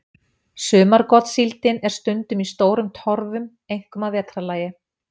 Sumargotssíldin er stundum í stórum torfum, einkum að vetrarlagi.